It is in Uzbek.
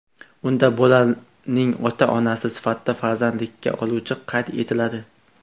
Unda bolaning ota-onasi sifatida farzandlikka oluvchi qayd etiladi.